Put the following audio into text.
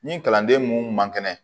Ni kalanden mun man kɛnɛ